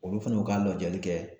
Olu fana y'u ka lajɛli kɛ